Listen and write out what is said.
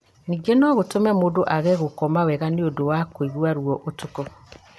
Ningĩ no gũtũme mũndũ age gũkoma wega nĩ ũndũ wa kũigua ruo ũtukũ.